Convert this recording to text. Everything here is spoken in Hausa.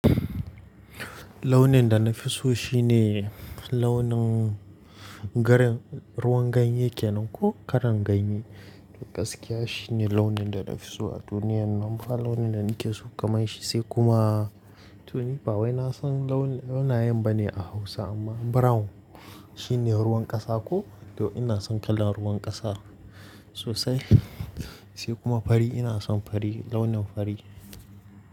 Launin da na fi so shi ne launin garin, ruwan ganye kenan ko kalan ganye. Gaskiya shi ne launin da na fi so a duniyan nan. Dan ba launin da nake so kaman shi sai kuma to ni ba wai na san launi, launayen bane a Hausa amma brown shi ne ruwan ƙasa ko to ina son kalan ruwan ƙasa sosai sai kuma fari ina son fari launin fari.